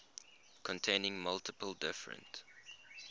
containing multiple different